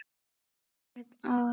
Örn og